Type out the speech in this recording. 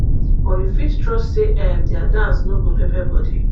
but you fit trust say um dia dance no go pepper body